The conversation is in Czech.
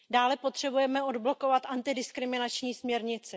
Dále potřebujeme odblokovat antidiskriminační směrnici.